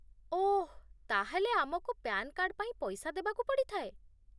ଓଃ, ତା'ହେଲେ ଆମକୁ PAN card ପାଇଁ ପଇସା ଦେବାକୁ ପଡ଼ିଥାଏ ?